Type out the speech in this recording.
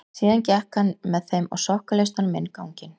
Síðan gekk hann með þeim á sokkaleistunum inn ganginn.